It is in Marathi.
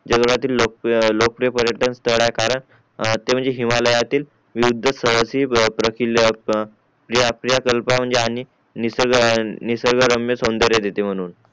जागतील लोकप्रिय पर्यटक स्टाल आहे कारण ते म्हणजे हिमालयातील विविध स्तळातील प्रकिल्ले प्रिया किल्ला म्हणजे आणि निसर्ग निसर्ग रम्य साव्न्दर्य दिते म्हणून